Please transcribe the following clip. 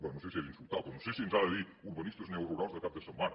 bé no sé si és insultar però no sé si ens ha de dir urbanistes neorurals de cap de setmana